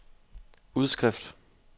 udskrift